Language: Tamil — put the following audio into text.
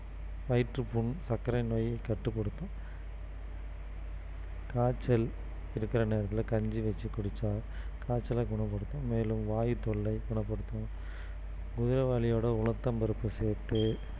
வயிற்றுப்புண், சர்க்கரை நோயை கட்டுப்படுத்தும் காய்ச்சல் இருக்கிற நேரத்துல கஞ்சி வச்சி குடிச்சா காய்ச்சல குணப்படுத்தும் மேலும் வாயு தொல்லை குணப்படுத்தும் குதிரைவாலி ஓட உளுத்தம்பருப்பு சேர்த்து